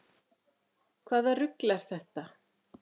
Hvaða rugl er þetta?